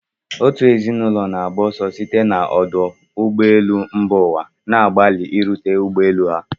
Otu ezinụlọ na-agba ọsọ site na ọdụ ụgbọ elu mba ụwa, na-agbalị irute ụgbọ elu ha.